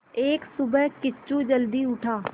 एक सुबह किच्चू जल्दी उठा